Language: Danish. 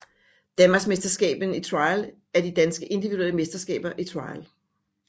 Danmarksmesterskaberne i Trial er de danske individuelle mesterskaber i trial